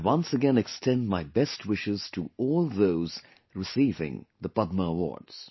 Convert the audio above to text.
I once again extend my best wishes to all those receiving the Padma Awards